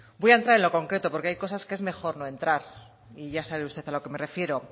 voy a entrar en lo concreto porque hay cosas que es mejor no entrar y ya sabe usted a lo que me refiero